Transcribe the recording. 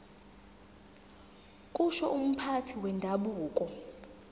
kusho umphathi wendabuko